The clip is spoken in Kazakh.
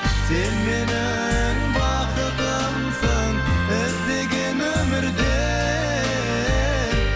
сен менің бақытымсың іздеген өмірде